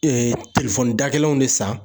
Ee telefɔni da gɛlɛn de san